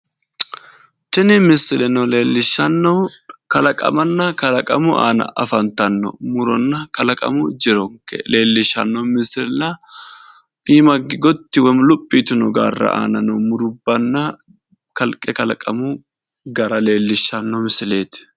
Tini misileno leellishshannohu kalaqamanna kalaqamu aana afantanno muronna kalaqamu jironke leellishshanno misilla iima higge gotti woyi luphi yitino gaarra noo mirubbanna kalqe kalaqamu gara leellishshanno misileeti.